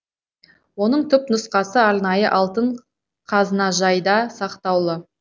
оның түпнұсқасы арнайы алтын қазынажайда сақтаулы